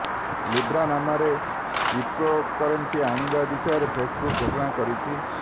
Libra ନାମରେ cryptocurrency ଆଣିବା ବିଷୟରେ ଫେସବୁକ୍ ଘୋଷଣା କରିଛି